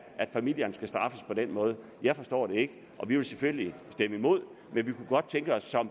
at familierne skal straffes på den måde jeg forstår det ikke og vi vil selvfølgelig stemme imod men vi kunne godt tænke os